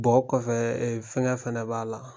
o kɔfɛ fɛngɛ fana b'a la